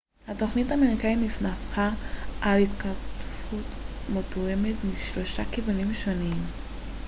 התוכנית האמריקאית הסתמכה על התקפות מתואמות משלושה כיוונים שונים